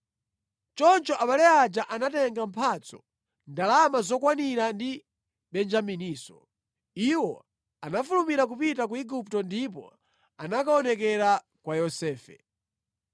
Choncho abale aja anatenga mphatso, ndalama zokwanira ndi Benjamininso. Iwo anafulumira kupita ku Igupto ndipo anakaonekera kwa Yosefe.